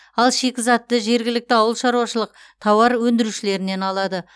ал шикізатты жергілікті ауылшаруашылық тауар өндірушілерінен алады